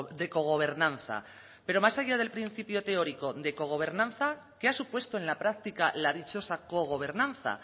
de cogobernanza pero más allá del principio teórico de cogobernanza qué ha supuesto en la práctica la dichosa cogobernanza